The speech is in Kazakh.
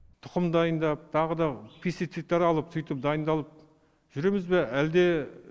тұқым дайындап тағы да пицециттер алып сөйтіп дайындалып жүреміз бе әлде